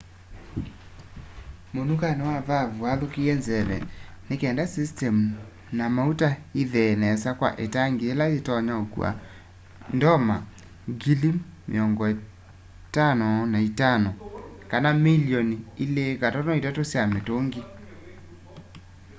munukani wa vaavu wathukia nzeve nikenda system na mauta ithee nesa kwa itangi ila yitonya ukua ndoma 55,000 milioni 2.3 sya mitungi